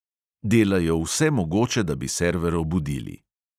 Delajo vsemogoče, da bi server obudili.